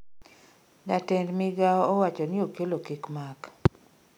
jatend migao owachoni okello kik mak